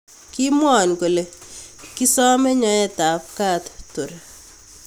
Kimwonkole kisome nyoote ab ka tor.